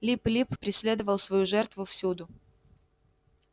лип лип преследовал свою жертву всюду